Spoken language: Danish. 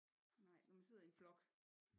Nej når man sidder i en flok